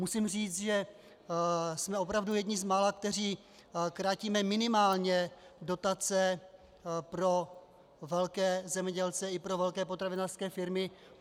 Musím říct, že jsme opravdu jedni z mála, kteří krátíme minimálně dotace pro velké zemědělce i pro velké potravinářské firmy.